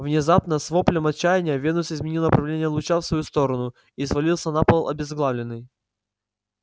внезапно с воплем отчаяния венус изменил направление луча в свою сторону и свалился на пол обезглавленный